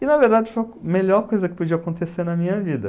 E, na verdade, foi a melhor coisa que podia acontecer na minha vida.